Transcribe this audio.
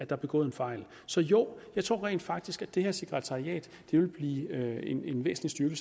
er begået en fejl så jo jeg tror rent faktisk at det her sekretariat vil blive en væsentlig